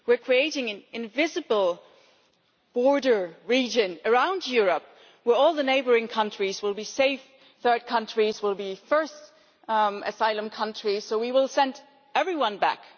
We are creating an invisible border region around Europe where all the neighbouring countries will be safe, and third countries will be first asylum countries, so we will send everyone back.